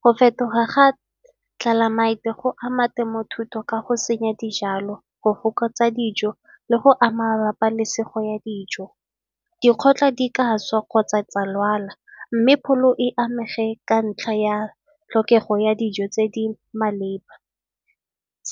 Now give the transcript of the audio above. Go fetoga ga tlelaemete go ama temothuo ka go senya dijalo, go fokotsa dijo le go ama bapalesego ya dijo. Dikgotla di ka swa kgotsa tsa lwala mme pholo e amege ka ntlha ya tlhokego ya dijo tse di maleba.